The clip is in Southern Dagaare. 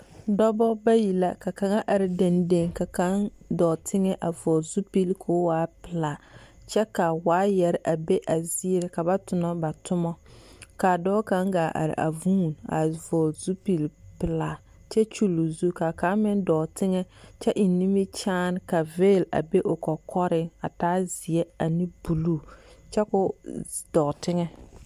dɔbɔ bayi la ka kaŋ are dendeŋe ka kaŋ dɔɔ teŋɛ a vɔgele zupili ka o waa pelaa, kyɛ ka waayɛre a be a ziiriŋ ka ba tona ba toma ka dɔɔ kaŋ gaa are a vũũni vɔgele zupili pelaa kyɛ kyulli o zu ka kaŋ meŋ dɔɔ teŋɛ kyɛ eŋ nimikyaane ka veeli a be o kɔkɔreŋ a taa zeɛ ane buluu kyɛ ka o z… dɔɔ teŋɛ.